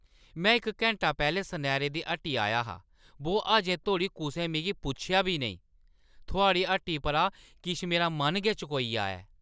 में इक घैंटा पैह्‌लें सनैरे दी हट्टी आया हा बो अजें धोड़ी कुसै मिगी पुच्छेआ बी नेईं। थुआढ़ी हट्टी परा किश मेरा मन गै चकोई ʼआ ऐ।